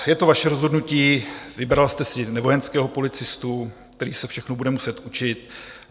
Je to vaše rozhodnutí, vybrala jste si nevojenského policistu, který se všechno bude muset učit.